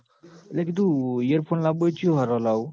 એટલે કીધું earphone લાબબા હોય તો ચિયાં હારોં લાવું